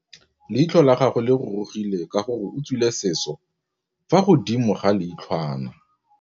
Leitlhô la gagwe le rurugile ka gore o tswile sisô fa godimo ga leitlhwana.